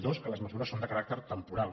dos que les mesures són de caràcter temporal